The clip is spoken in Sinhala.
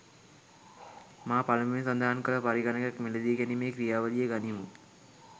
මා පළමුවෙන් සඳහන් කල පරිගණකයක් මිලදීගැනීමේ ක්‍රියාවලිය ගනිමු.